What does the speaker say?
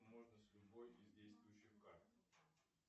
можно с любой из действующих карт